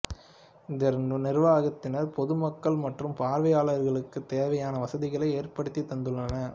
இந்த நிர்வாகத்தினர் பொதுமக்கள் மற்றும் பார்வையாளர்களுக்குத் தேவையான வசதிகளை ஏற்படுத்தித் தந்துள்ளனர்